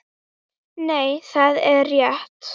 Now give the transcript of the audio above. Nei, það er rétt.